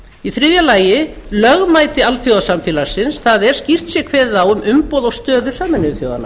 í þriðja lagi lögmæti alþjóðasamfélaginu það er skýrt sé kveðið á um umboð og stöðu sameinuðu þjóðanna